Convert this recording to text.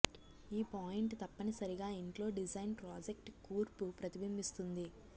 ఈ పాయింట్ తప్పనిసరిగా ఇంట్లో డిజైన్ ప్రాజెక్ట్ కూర్పు ప్రతిబింబిస్తుంది